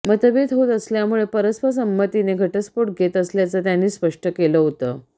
मतभेद होत असल्यामुळे परस्पर संमतीने घटस्फोट घेत असल्याचं त्यांनी स्पष्ट केलं होतं